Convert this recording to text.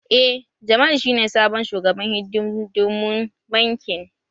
Eh. Jamal shi ne sabon shugaban hidindimun bankin